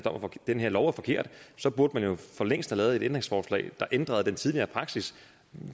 den her lov er forkert så burde man jo for længst have lavet et ændringsforslag der ændrede den tidligere praksis